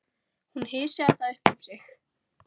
Hún hysjaði það upp um sig.